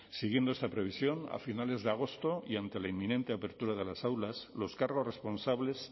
siguiendo esa previsión a finales de agosto y ante la inminente apertura de las aulas los cargos responsables